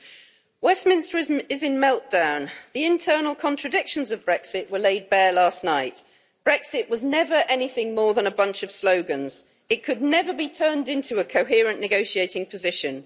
Madam President, Westminster is in meltdown. The internal contradictions of Brexit were laid bare last night. Brexit was never anything more than a bunch of slogans. It could never be turned into a coherent negotiating position.